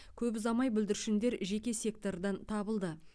көп ұзамай бүлдіршіндер жеке сектордан табылды